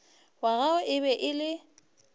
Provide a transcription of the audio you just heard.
wa gagwe e be e